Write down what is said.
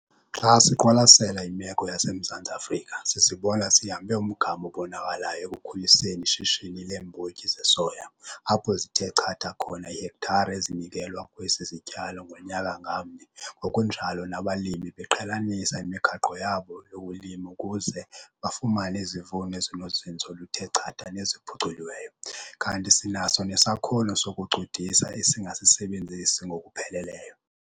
Xa siqwalasela imeko yaseMzantsi Afrika, sizibona sihambe umgama obonakalayo ekukhuliseni ishishini leembotyi zesoya, apho zithe chatha khona iihektare ezinikelwa kwesi sityalo ngonyaka ngamnye ngokunjalo nabalimi beqhelanisa imigaqo yabo yokulima ukuze bafumane izivuno ezinozinzo oluthe chatha neziphuculiweyo, kanti sinaso nesakhono sokucudisa esingasisebenzisi ngokupheleleyo.